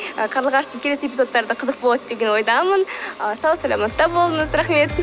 і қарлығаштың келесі эпизодтары да қызық болады деген ойдамын ы сау саламатта болыңыз рахмет